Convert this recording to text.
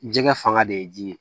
Jɛgɛ fanga de ye ji ye